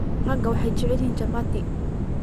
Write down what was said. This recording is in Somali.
Rakaa waxay jecelyihin Chapati.